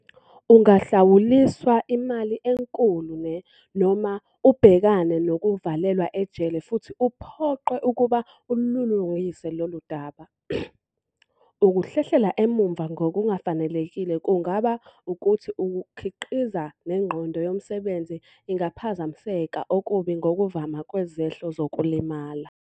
Ungahlawuliswa imali enkulu ne, noma ubhekane nokuvalelwa ejele futhi uphoqwe ukuba ululungise lolu daba. Ukuhlehlela emuva ngokungafanelekile kungaba ukuthi ukukhiqiza nengqondo yomsebenzi ingaphazamiseka okubi ngokuvama kwezehlo zokulimala.